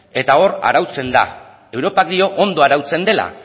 eta hor arautzen da europak dio ondo arautzen dela